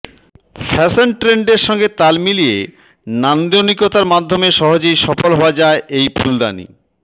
fashion ট্রেন্ডের সঙ্গে তাল মিলিয়ে নান্দনিকতার মাধ্যমে সহজেই সফল হওয়া যায় এই ফুলদানি